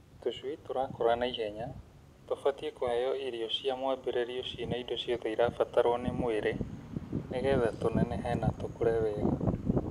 Tũcui tũrakũra na ihenya tũbatiĩ kũheo irio cia mwambĩrĩrio ciĩna indo ciothe irabataro nĩ mwĩrĩ nĩgetha tũnenehe na tũkũre wega.